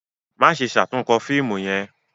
Maṣe ṣatunkọ fiimu yẹn!